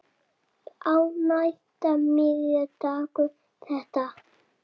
Á næsta miða stendur þetta